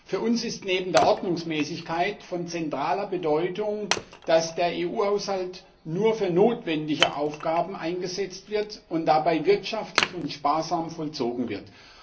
Für uns ist neben der Ordnungsmäßigkeit von zentraler Bedeutung, dass der EU Haushalt nur für notwendige Aufgaben eingesetzt und dabei wirtschaftlich und sparsam vollzogen wird.